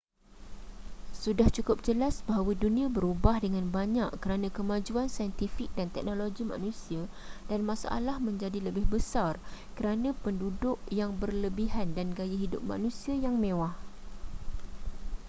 sudah cukup jelas bahawa dunia berubah dengan banyak kerana kemajuan saintifik dan teknologi manusia dan masalah menjadi lebih besar kerana penduduk yang berlebihan dan gaya hidup manusia yang mewah